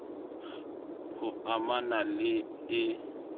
h o amana le e